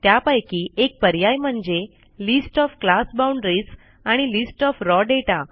त्यापैकी एक पर्याय म्हणजे list of class boundaries and list of raw data